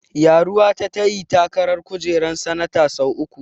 Ƴaruwa ta ta yi takarar kujerar sanata sau uku.